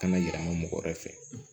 Kana yira mɔgɔ wɛrɛ fɛ